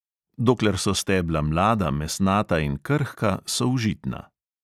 Dokler so stebla mlada, mesnata in krhka, so užitna.